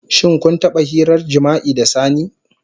Shin kun taba hirar jima'i da sani?